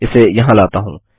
इसे यहाँ लाता हूँ